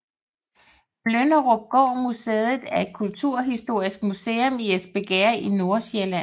Flynderupgård Museet er et kulturhistorisk museum i Espergærde i Nordsjælland